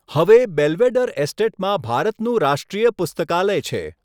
હવે, બેલ્વેડેર એસ્ટેટમાં ભારતનું રાષ્ટ્રીય પુસ્તકાલય છે.